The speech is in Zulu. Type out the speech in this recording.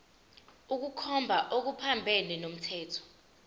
ukukhomba okuphambene nomthetho